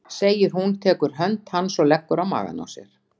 segir hún, tekur hönd hans og leggur á magann á sér.